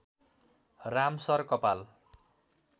राम सर कपाल